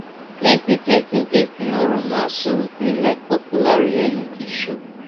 plenti plenti dating or romance shows dey like popular reality show